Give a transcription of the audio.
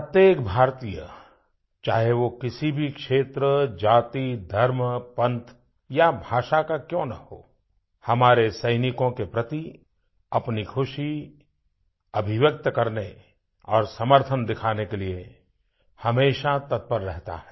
प्रत्येक भारतीय चाहे वो किसी भी क्षेत्र जाति धर्म पंथ या भाषा का क्यों न हो हमारे सैनिकों के प्रति अपनी खुशी अभिव्यक्त करने और समर्थन दिखाने के लिए हमेशा तत्पर रहता है